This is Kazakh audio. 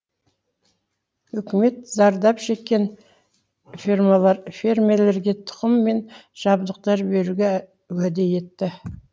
үкімет зардап шеккен фермерлерге тұқым мен жабдықтар беруге уәде етті